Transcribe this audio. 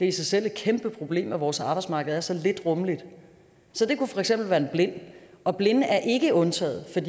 i sig selv et kæmpe problem at vores arbejdsmarked er så lidt rummeligt så det kunne for eksempel være en blind og blinde er ikke undtaget